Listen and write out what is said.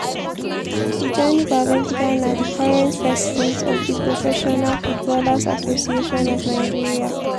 tijani babangida na di current president of di professional footballers association of nigeria (pfan).